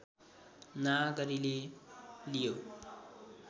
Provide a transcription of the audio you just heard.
नागरीले लियो